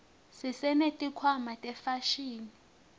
sesineti khwama tefashini